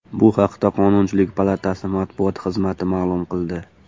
Bu haqda Qonunchilik palatasi matbuot xizmati ma’lum qildi .